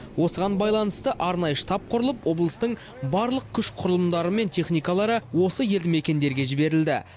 осыған байланысты арнайы штаб құрылып облыстың барлық күш құрылымдары мен техникалары осы елді мекендерге жіберілді